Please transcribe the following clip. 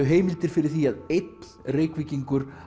heimildir fyrir því að einn Reykvíkingur